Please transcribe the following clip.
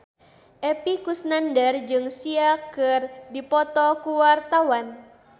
Epy Kusnandar jeung Sia keur dipoto ku wartawan